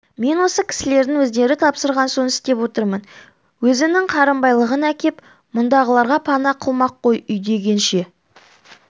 мен осы кісілердің өздері тапсырған соң істеп отырмын өзінің қарынбайлығын әкеп мұндағыларға пана қылмақ қой үйдегенше